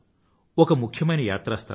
ఒక ముఖ్యమైన యాత్రా స్థలం